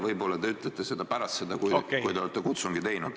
Võib-olla te ütlete seda ka pärast seda, kui te olete kutsungi teinud.